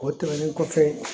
O tɛmɛnen kɔfɛ